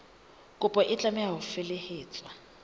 kopo e tlameha ho felehetswa